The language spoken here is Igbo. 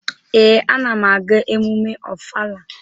Ee, ana m aga emume Ọfala.